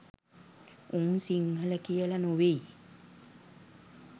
උන් සිංහල කියල නොවෙයි